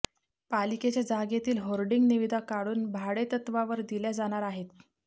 पालिकेच्या जागेतील होर्डिंग निविदा काढून भाडेतत्त्वावर दिल्या जाणार आहेत